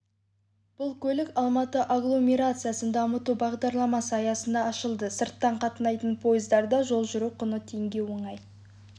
бұл көлік алматы агломерациясын дамыту бағдарламасы аясында ашылды сырттан қатынайтын пойыздарда жол жүру құны теңге оңай